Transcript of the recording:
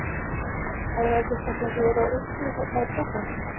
Er það ekki eitthvað sem þið eruð að upplifa hérna í prógramminu?